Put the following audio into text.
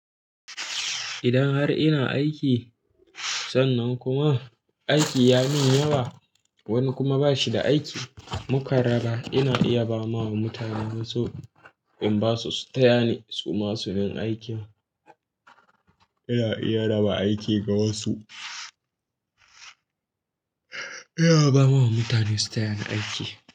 Idan har ina aiki sannan kuma aiki ya min yawa, wani kuma ba shi da aiki, mu karaba ina iya ba wa mutane wasu in ba su su taya ni su ma su min aikin. Ina iya raba aiki ga wasu. Ina ba wa mutane su taya ni aiki.